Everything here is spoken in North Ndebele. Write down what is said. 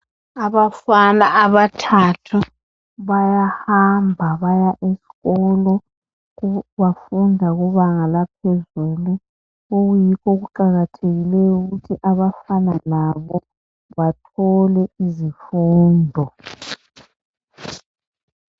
Abafana abathathu bayahamba baya esikolo, bafunda kubanga laphezulu, okuyikho okuqakathekileyo ukuthi abafana labo bathole izifundo.